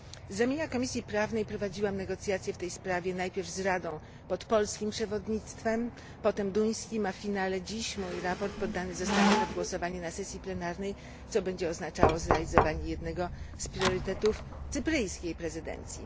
Z ramienia Komisji Prawnej prowadziłam negocjacje w tej sprawie najpierw z Radą, pod polskim przewodnictwem, potem duńskim, a dziś moje sprawozdanie poddane zostanie pod głosowanie na sesji plenarnej, co będzie oznaczało zrealizowanie jednego z priorytetów cypryjskiej prezydencji.